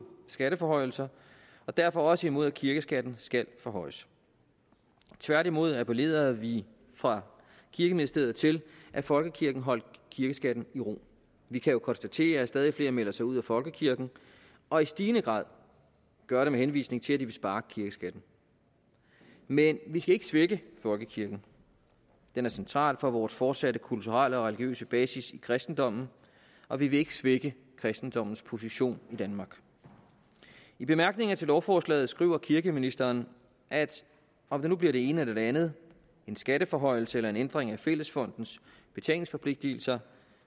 skatteforhøjelser og derfor også imod at kirkeskatten skal forhøjes tværtimod appellerede vi fra kirkeministeriet til at folkekirken holdt kirkeskatten i ro vi kan jo konstatere at stadig flere melder sig ud af folkekirken og i stigende grad gør det med henvisning til at de vil spare kirkeskatten men vi skal ikke svække folkekirken den er central for vores fortsatte kulturelle og religiøse basis i kristendommen og vi vil ikke svække kristendommens position i danmark i bemærkningerne til lovforslaget skriver kirkeministeren at om det nu bliver det ene eller det andet en skatteforhøjelse eller en ændring af fællesfondens betalingsforpligtelse